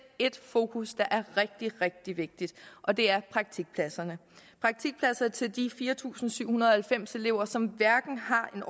ét fokus der er rigtig rigtig vigtigt og det er praktikpladserne praktikpladser til de fire tusind syv hundrede og halvfems elever som hverken har en